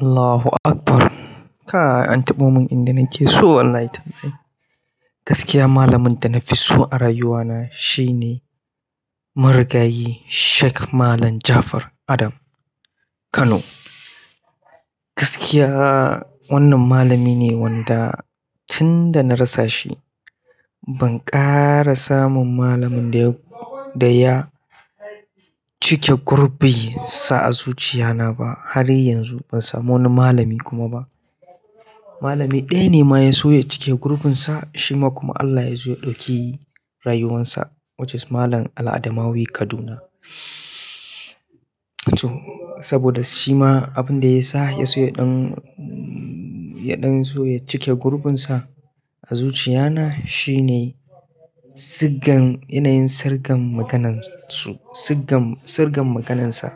Allahu Akbar. Kai an taɓo mun inda nake so wallahi tallahi. Gaskiya malamin da na fi so a rayuwa na shine marigayi Sheikh Malam Jafar Adam Kano. Gaskiya wannan malami ne wanda tun da na rasa shi ban ƙara samun malamin da ya, da ya cike gurubi sa a zuciya na ba har yanzu ban samu wani malami kuma ba. Malami ɗaya ne ma yaso ya cike gurbin sa shima kuma Allah yazo ya ɗauki rayuwansa which is malam al adamawi Kaduna. To saboda shi ma abin da ya sa ya so ya ɗan, ya ɗan so ya cike gurubinsa a zuciya na shine siggan yanayin sirgan maganansu, siggan, sirgan maganansa.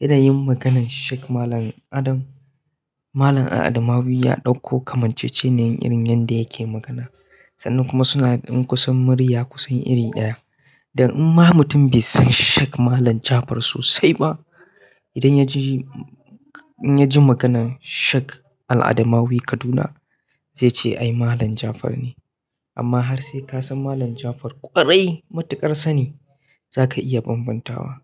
Yanayin maganan Sheikh Malam Adam, Malam Al Adamawi ya ɗauko kamanceceniyar irin yadda yake magana. Sannan kuma suna da ɗan kusan murya kusan iri ɗaya dan in ma mutum bai san Sheikh Malam Jafar sosai ba, idan ya ji, in ya ji maganan Sheikh Al Adamawi Kaduna zai ce ai Malam Jafar ne. Amma har sai ka san Malam Jafar ƙwarai matuƙar sani za ka iya bambantawa.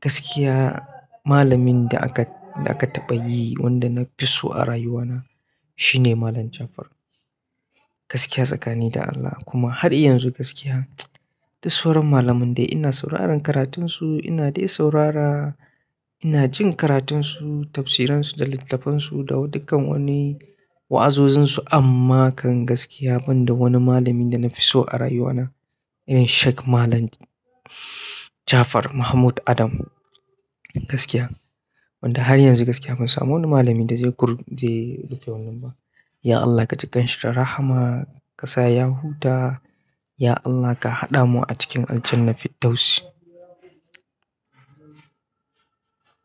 Gaskiya malamin da aka, da aka taɓa yi wanda na fi so a rayuwa na shine Malam Jafar. Gaskiya tsakani da Allah kuma har yanzu gaskiya, duk sauran malamai dai ina sauraron karatunsu ina dai saurara, ina jin karatunsu, tafsiransu da littattafansu da dukkan wani wa'azozinsu amma kan gaskiya ban da wani malami da na fi so a rayuwa na irin Sheikh Malam Jafar Mahmud Adam. Gaskiya wanda har yanzu gaskiya ban samu wani malami da zai gur, zai rufe wannan ba. Ya Allah ka ji kanshi da rahama, ƙasa ya huta, ya Allah ka haɗa mu a cikin aljanna fiddausi.